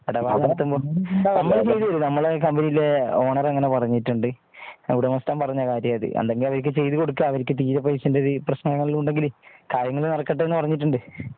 ഇടപാട് ചെയ്യുമ്പോ നമ്മൾ ചെയ്ത് തരും നമ്മുടെ കമ്പനിയിലെ ഓണർ അങ്ങനെ പറഞ്ഞിട്ട് ഉണ്ട് ഉടമസ്ഥൻ പറഞ്ഞ കാര്യം അത് എന്തെങ്കിലും അവർക്ക് ചെയ്ത് കൊടുക്കുക അവർക്ക് തീരെ പൈസ എല്ലെങ്കില് പ്രശ്നങ്ങള് വല്ലവും ഉണ്ടെങ്കില് കാര്യങ്ങൾ നടക്കട്ടെ എന്ന് പറഞ്ഞിട്ട് ഉണ്ട്